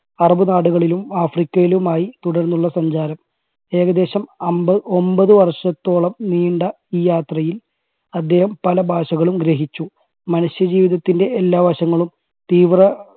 അറബി നാടുകളിലും ആഫ്രിക്കയിലുമായി തുടർന്നുള്ള സഞ്ചാരം ഏകദേശം അൻപ ഒൻപത് വർഷത്തോളം നീണ്ട ഈ യാത്രയിൽ അദ്ദേഹം പല ഭാഷകളും ഗ്രഹിച്ചു. മനുഷ്യ ജീവിതത്തിന്റെ എല്ലാ വശങ്ങളും തീവ്ര